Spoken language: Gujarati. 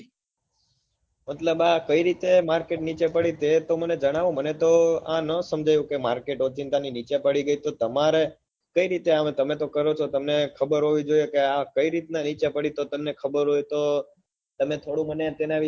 મતલબ આ કઈ રીતે market નીચે પડી તે તો મને જણાવો મને તો આ ના સમજાયું કર market ઓચિંતાનું નીચે પડી તો તમારે કઈ આમ તમે તો કરો છો તમને ખબર હોવી જોઈએ કે આ કઈ રીત ના નીચે પડ્યું તો તમને ખબર હોય તો તમે થોડું ગણું મને જણાવી